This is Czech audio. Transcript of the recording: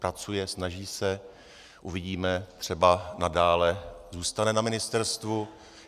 Pracuje, snaží se, uvidíme, třeba nadále zůstane na ministerstvu.